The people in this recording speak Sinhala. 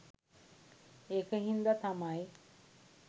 ඒක හින්ද තමයි